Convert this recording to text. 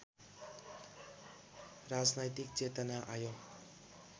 राजनैतिक चेतना आयो